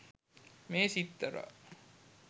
මේ සිත්තරා